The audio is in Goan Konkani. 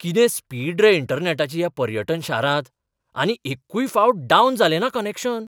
कितें स्पीड रे इंटरनॅटाची ह्या पर्यटन शारांत, आनी एक्कूय फावट डावन जालें ना कनॅक्शन!